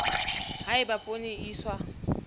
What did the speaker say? ha eba poone e iswa